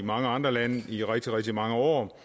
mange andre lande i rigtig rigtig mange år